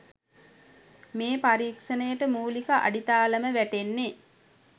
මේ පරීක්ෂණයට මූලික අඩිතාලම වැටෙන්නෙ